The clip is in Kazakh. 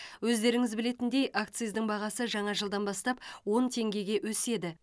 өздеріңіз білетіндей акциздің бағасы жаңа жылдан бастап он теңгеге өседі